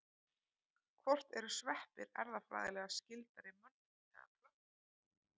Hvort eru sveppir erfðafræðilega skyldari mönnum eða plöntum?